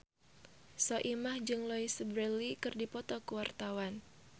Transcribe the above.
Soimah jeung Louise Brealey keur dipoto ku wartawan